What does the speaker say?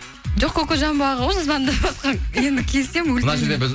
жоқ кокожамбо аға ғой звондаватқан енді келсем